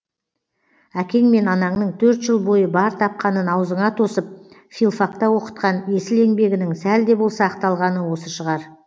әкең мен анаңның төрт жыл бойы бар тапқанын аузыңа тосып филфакта оқытқан есіл еңбегінің сәл де болса ақталғаны осы шығар